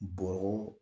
Bɔrɔ